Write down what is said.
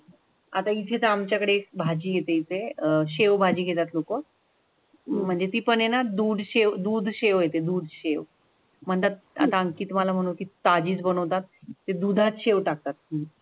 आता इथेच आमच्याकडे भाजी तिथे अह शेवभाजी घेतात लोको. म्हणजे ती पण आहे ना दूध शेवते दूध शेव म्हणतात. आता आणखी तुम्हाला म्हणून ती ताजी बनवतात ते दुधात शिव टाकतात.